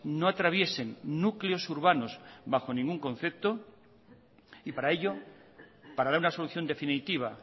no atraviesen núcleos urbanos bajo ningún concepto y para ello para dar una solución definitiva